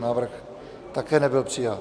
Návrh také nebyl přijat.